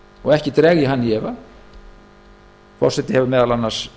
og ekki dreg ég hann í efa forseti hefur meðal annars